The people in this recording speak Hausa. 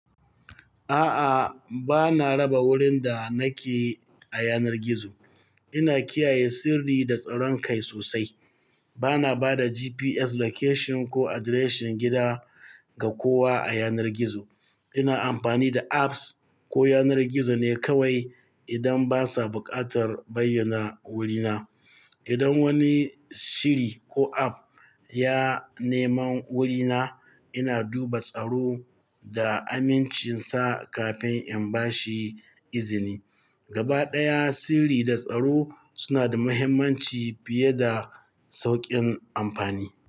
A'a, bana raba wurin da nake a yanar gizo. Ina kiyaye sirri da tsaron kai sosai. Bana ba da GPS location ko address gida ga kowa a yanar gizo. Ina amfani da apps ko yanar gizo ne kawai idan basa buƙatar bayyana wurina. Idan wani shiri ko app ya neman wurina, ina duba tsaro da amincinsa kafin in bashi izini. Gaba ɗaya, sirri da tsaro suna da mahimmanci fiye da saukin amfani.